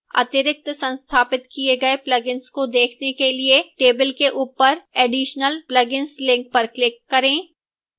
अतिरिक्त संस्थापित किए गए plugins को देखने के लिए table के ऊपर additional plugins link पर click करें